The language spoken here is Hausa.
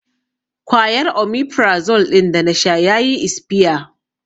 Kwayar 'Omefrazole' ɗin da na sha ya yi isfiya